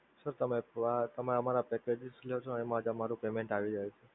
sir તમે અમારાં packages લ્યો છે એમા જ અમારું payment આવી જાય છે.